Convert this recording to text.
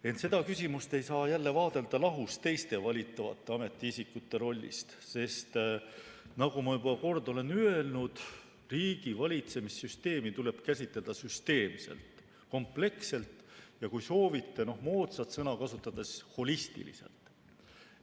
Ent seda küsimust ei saa vaadelda lahus teiste valitavate ametiisikute rollist, sest nagu ma juba kord olen öelnud, riigivalitsemise süsteemi tuleb käsitleda süsteemselt, kompleksselt, ja kui soovite moodsat sõna kasutada, siis holistiliselt.